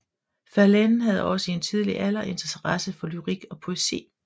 Verlaine havde også i en tidlig alder interesse for lyrik og poesi